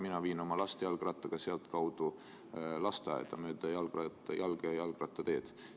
Mina viin oma last jalgrattaga sealtkaudu lasteaeda, mööda jalgratta- ja jalgteed.